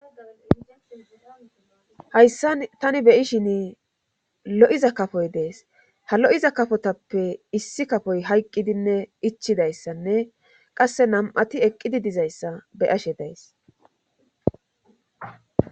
Hayssa tani beyishin lo'iza kafoy dees ha lo'iza kafotappe issi kafoy hayqqidinne ichidayssanne qasse nam'ati eqqidi dizayssa beyashshe dees